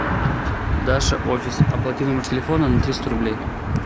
даша офис оплати номер телефона на триста рублей